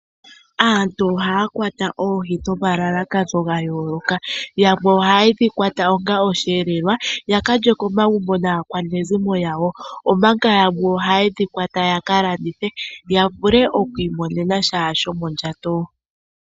Aantu ohaya kwata oohi nomalalakano gayooloka, yamwe oha ye dhi kwata yakalye aakwanezimo yawo yo yamwe oyakalandithe yavule okwiimonenasha shomondjato.